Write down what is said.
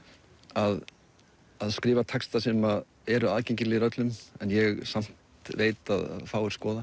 að að skrifa texta sem eru aðgengilegir öllum en ég samt veit að fáir skoða